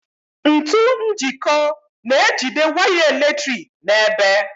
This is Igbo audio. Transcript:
Ntu njiko na-ejide waya eletrik n'ebe.